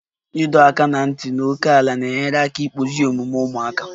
Ịdọ aka ná ntị na ókèala na-enyere aka ịkpụzi omume ụmụaka